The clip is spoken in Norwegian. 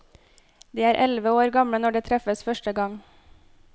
De er elleve år gamle når de treffes første gang.